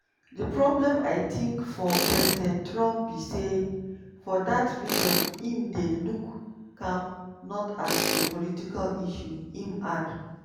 "di problem i tink for president trump be say for dat region im dey look am not as a political issue" im add.